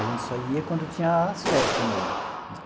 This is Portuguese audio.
A gente só ia quando tinha as festas mesmo.